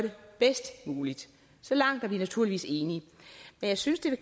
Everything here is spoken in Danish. bedst muligt så langt er vi naturligvis enige men jeg synes det